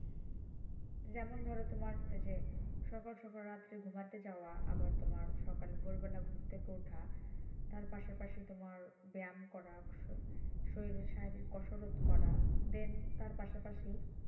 যেমন ধরো তোমার যে সকাল সকাল রাত্রে ঘুমাতে যাওয়া আবার তোমার সকালে ভোর বেলা ঘুম থেকে ওঠা তার পাশাপাশি তোমার ব্যায়াম করা শো~শরীরে শারীরিক কসরত করা দেন তার পাশাপাশি